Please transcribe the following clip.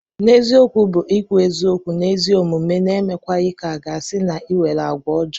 N'eziokwu bu ikwu eziokwu ma ezigbo omume n'emekwaghi ka aga si na inwere agwa ojo.